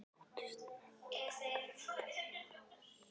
Þóttust menn taka eftir því, að